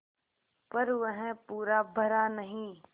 पर वह पूरा भरा नहीं